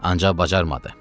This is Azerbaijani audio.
Ancaq bacarmadı.